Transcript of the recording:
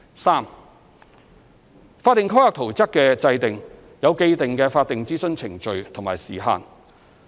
三法定規劃圖則的制訂有既定的法定諮詢程序和時限。